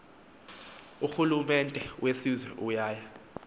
urhulumente wesizwe uya